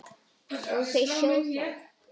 Og þau sjá það.